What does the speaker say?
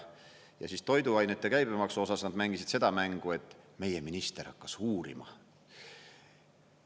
Ja toiduainete käibemaksu osas nad mängisid seda mängu, et meie minister hakkas uurima.